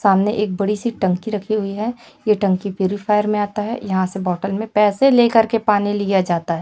सामने एक बड़ी सी टंकी रखी हुई है यह टंकी प्युरी फायर में आता है यहां से बॉटल में पैसे लेकर के पानी लिया जाता है।